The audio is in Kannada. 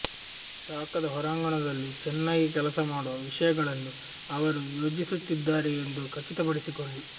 ಶಾಖದ ಹೊರಾಂಗಣದಲ್ಲಿ ಚೆನ್ನಾಗಿ ಕೆಲಸ ಮಾಡುವ ವಿಷಯಗಳನ್ನು ಅವರು ಯೋಜಿಸುತ್ತಿದ್ದಾರೆ ಎಂದು ಖಚಿತಪಡಿಸಿಕೊಳ್ಳಿ